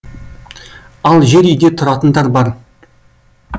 ал жер үйде тұратындар бар